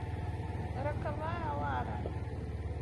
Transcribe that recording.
роковая лара